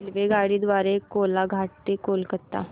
रेल्वेगाडी द्वारे कोलाघाट ते कोलकता